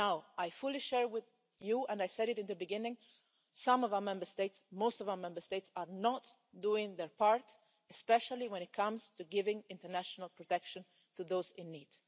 I fully share with you and I said it at the beginning most of our Member States are not doing their part, especially when it comes to giving international protection to those in need.